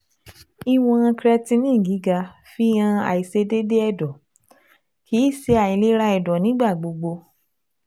ìwọn creatinine gíga fihàn àìṣedéédé ẹ̀dọ́, kì í ṣe àìlera ẹ̀dọ́ nígbà gbogbo